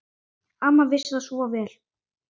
Amma vissi það svo vel.